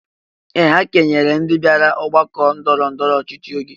Ee! Ha kenyere ndị bịara ọgbakọ ndọrọ ndọrọ ọchịchị ego.